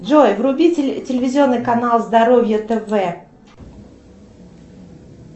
джой вруби телевизионный канал здоровье тв